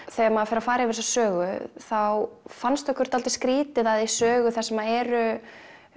þegar maður fer að fara yfir þessa sögu þá fannst okkur dálítið skrítið að í sögu þar sem eru